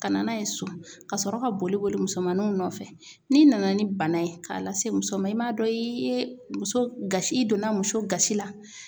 Ka na n'a ye so ka sɔrɔ ka boli boli musomaninw nɔfɛ, n'i nana ni bana ye k'a lase muso ma i m'a dɔn i ye muso gasi i donna muso gasi la.